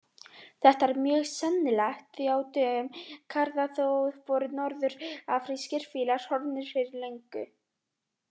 Þetta er mjög sennilegt því að á dögum Karþagó voru norður-afrískir fílar horfnir fyrir löngu.